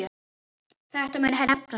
Þetta mun hefna sín.